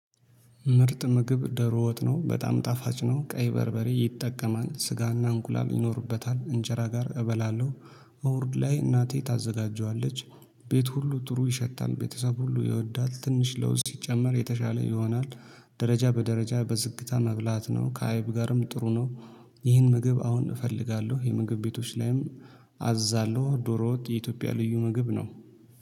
ምርጥ ምግብ ደሮ ወጥ ነው በጣም ጣፋጭ ነው ቀይ በርበሬ ይጠቀማል ስጋና እንቁላል ይኖርበታል እንጀራ ጋር እበላለሁ። እሁድ ላይ እናቴ ታዘጋጀዋለች። ቤት ሁሉ ጥሩ ይሸታል ቤተሰብ ሁሉ ይወዳል ትንሽ ለውዝ ሲጨመር የተሻለ ይሆናል። ደረጃ በደረጃ በዝግታ መብላት ነው ከአይብ ጋርም ጥሩ ነው። ይህን ምግብ አሁን እፈልጋለሁ የምግብ ቤቶች ላይም። አዛለሁ ዶሮ ወጥ የኢትዮጵያ ልዩ ምግብ ነው